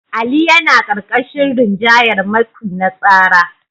Ali yana ƙarƙashin rinjayar matsi na tsara.